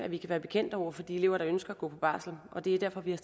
vi kan være bekendt over for de elever der ønsker at gå på barsel og det er derfor vi har